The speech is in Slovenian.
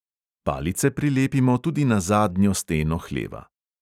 Palice prilepimo tudi na zadnjo steno hleva.